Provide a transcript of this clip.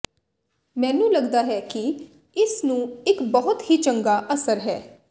ਮੈਨੂੰ ਲੱਗਦਾ ਹੈ ਕਿ ਇਸ ਨੂੰ ਇੱਕ ਬਹੁਤ ਹੀ ਚੰਗਾ ਅਸਰ ਹੈ